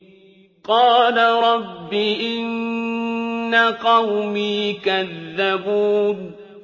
قَالَ رَبِّ إِنَّ قَوْمِي كَذَّبُونِ